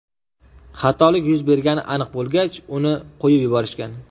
Xatolik yuz bergani aniq bo‘lgach, uni qo‘yib yuborishgan.